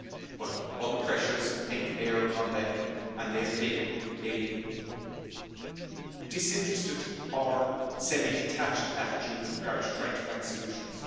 But other pressures came to bear upon them, and they have taken a disinterested or semi detached attitude with regard to trying to find solutions.